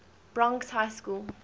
bronx high school